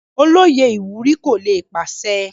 Olóyè ìwúrí kò lè pàṣẹ.